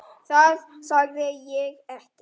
Það sagði ég ekki